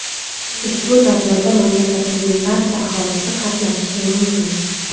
Ushbu tadbirda mamlakatimizning barcha aholisi qatnashishi mumkin.